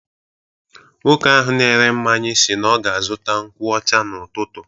Nwoke ahụ na-ere mmanya si na ọ ga-azụta nkwu ọcha n'ụtụtụ.